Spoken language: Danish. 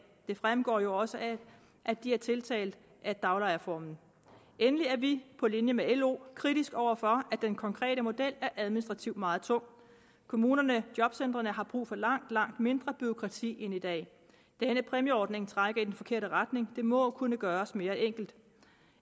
det fremgår jo også af at de er tiltalt af daglejerformen endelig er vi på linje med lo kritiske over for at den konkrete model administrativt er meget tung kommunerne og jobcentrene har brug for langt langt mindre bureaukrati end i dag denne præmieordning trækker i den forkerte retning det må kunne gøres mere enkelt